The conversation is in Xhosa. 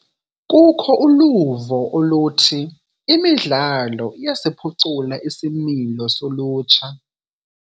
Kukho uluvo oluthi imidlalo iyasiphucula isimilo solutsha.